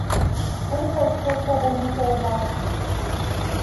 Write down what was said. Koliko odstotkov bolnikov je moških?